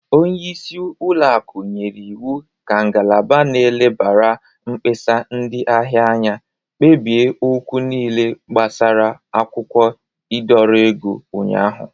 Onyeisi ụlọakụ nyere iwu ka ngalaba n'elebara mkpesa ndị ahia anya kpebie okwu niile gbasara akwụkwọ ịdọrọ ego ụnyaahụ.